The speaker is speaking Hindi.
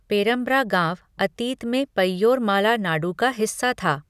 पेरमब्रा गाँव अतीत में 'पय्योरमाला नाडु' का हिस्सा था।